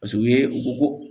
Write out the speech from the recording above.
Paseke u ye u ko ko